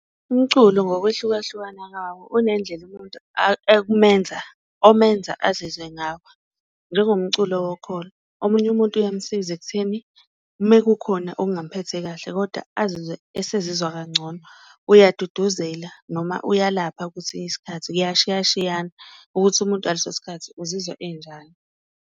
Umculo ngokwehlukahlukana kwawo unendlela yomuntu ekumenza omenza azizwe ngawo njengomculo wokholo, omunye umuntu uyamsiza ekutheni mekukhona okungamphethe kahle kodwa azizwe esezizwa kangcono. Uyaduduzela noma uyalapha isikhathi kuyashiyashiyana ukuthi umuntu ngaleso sikhathi uzizwa enjani.